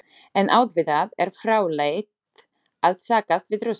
En auðvitað er fráleitt að sakast við Rússana.